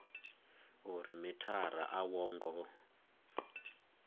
uri mithara a wo ngo